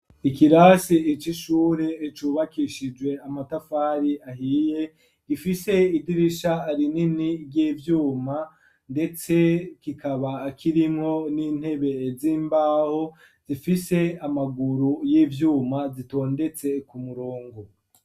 Ikirasi cishure cubakishijwe amatafari ahiye, gifise idirisha arinini ry'ibyuma ndetse kikaba akirinko n'intebe z'imbaho, zifise amaguru y'ivyuma ,zitondetse ku murongo.